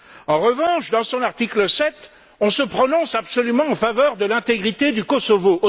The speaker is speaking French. En revanche, dans son article 7, on se prononce absolument en faveur de l'intégrité du Kosovo.